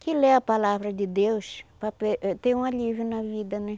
que ler a palavra de Deus para ter um alívio na vida, né?